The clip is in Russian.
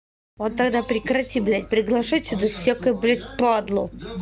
вот тогда прекрати блять приглашу сюда всякую блять падлу